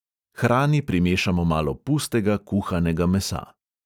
Hrani primešamo malo pustega kuhanega mesa.